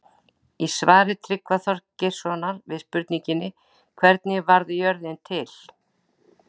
Í svari Tryggva Þorgeirssonar við spurningunni Hvernig varð jörðin til?